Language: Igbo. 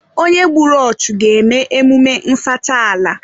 Onye gbùrù ọchu ga eme emume nsacha ala